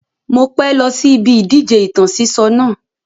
Mo pẹ́ lọ sí ibi ìdíje ìtàn sísọ náà